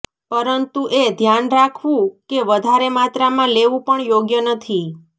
પરંતુ એ ધ્યાન રાખવું કે વધારે માત્રામાં લેવું પણ યોગ્ય નથી